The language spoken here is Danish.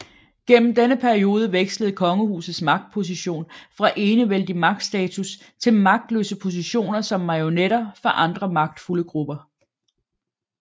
Gennem denne periode vekslede kongehusets magtposition fra enevældig magtstatus til magtløse positioner som marionetter for andre magtfulde grupper